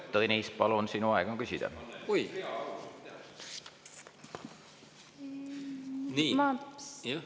Tõnis, palun, sinu aeg on küsida!